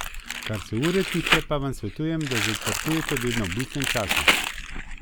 Oblačila naj ne bi bila prozorna in ne preveč ozka.